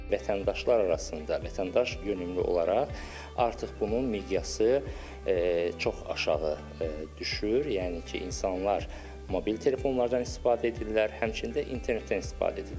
Vətəndaşlar arasında, vətəndaş yönümlü olaraq artıq bunun miqyası çox aşağı düşür, yəni ki, insanlar mobil telefonlardan istifadə edirlər, həmçinin də internetdən istifadə edirlər.